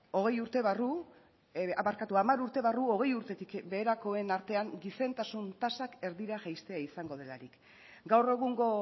hogei urte barru barkatu hamar urte barru hogei urtetik beherakoen artean gizentasun tasak erdira jaistea izango delarik gaur egungo